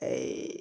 Ayi